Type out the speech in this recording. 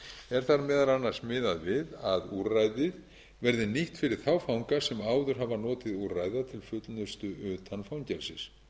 er þar meðal annars miðað við að úrræði verði nýtt fyrir þá fanga sem áður hafa notið úrræða til fullnustu utan fangelsis